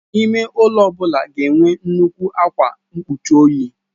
Ime ụlọ ya ga enwe nnukwu ákwà mgbochi ojii.